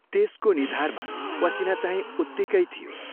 त्यसको निधारमा पसीनाचाहिं उत्तिकै थियो।